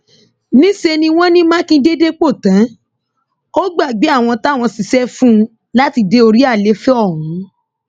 níṣẹ ni wọn ní mákindé dépò tán ó gbàgbé àwọn táwọn ṣiṣẹ fún un láti dé orí àlééfà ọhún